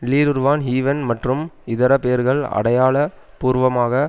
லீருருவான் ஹூ வென் மற்றும் இதர பேர்கள் அடையாள பூர்வமாக